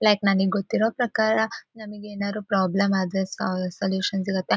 Like ನಾನೀಗ್ ಗೊತ್ತಿರೋ ಪ್ರಕಾರ ನಮಿಗ್ ಏನಾದ್ರು ಪ್ರಾಬ್ಲಮ್ ಆದ್ರೆ ಸ ಸಲ್ಯೂಷನ್ ಸಿಗತ್ತೆ.